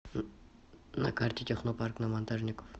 на карте технопарк на монтажников